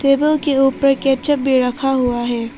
Table के ऊपर ketchup भी रखा हुआ है।